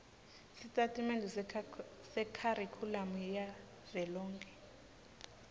sitatimende sekharikhulamu yavelonkhe